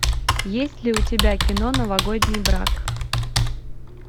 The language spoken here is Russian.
есть ли у тебя кино новогодний брак